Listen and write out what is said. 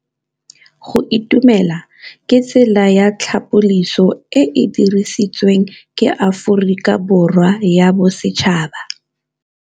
Go itumela ke tsela ya tlhapolisô e e dirisitsweng ke Aforika Borwa ya Bosetšhaba.